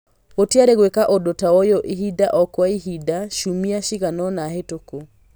Gũtĩarĩ gwĩka ũndũ taũyũ ihinda o kwa ihinda ciumia ciganona hetũku